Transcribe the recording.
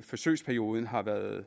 forsøgsperioden har været